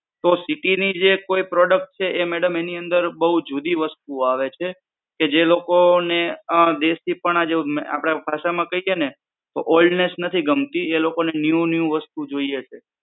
તો city ની જે કોઈ product છે. madam એની અંદર બવ જુદી વસ્તુ આવે છે. કે જે લોકોને દેસીપના જેવુ આપણે ભાષામાં કહીએ છીએ ને oldness નથી ગમતી એ લોકો ને new new જોઈએ છે.